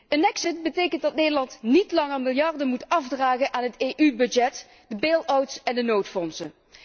Een exit betekent dat Nederland niet langer miljarden moet afdragen aan de EU begroting, de bailouts en de noodfondsen.